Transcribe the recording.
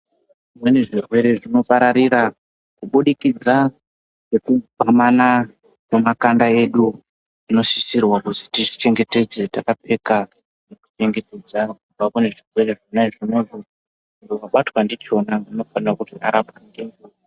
Zvimweni zvirwere zvinopararira kubudikidza ngekugwamana Kwemakanda edu zvinosisirwa kuzi tizvichengetedze takapfeka nyeketedza kubva kune zvirwere zvona zvonazvo unobatwa ndichona unofanira kuti arapwe.